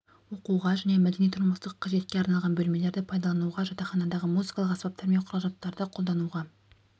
оқуға және мәдени-тұрмыстық қажетке арналған бөлмелерді пайдалануға жатақханадағы музыкалық аспаптар мен құрал-жабдықтарды қолдануға